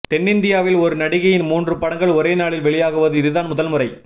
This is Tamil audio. தென்னிந்தியாவில் ஒரு நடிகையின் மூன்று படங்கள் ஒரே நாளில் வெளியாகுவது இதுதான் முதல்முறை